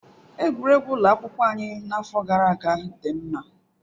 Egwuregwu ụlọ akwụkwọ anyị n'afọ gara aga dị mma.